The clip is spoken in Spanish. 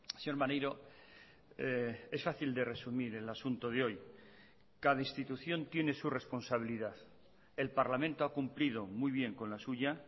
señor maneiro es fácil de resumir el asunto de hoy cada institución tiene su responsabilidad el parlamento ha cumplido muy bien con la suya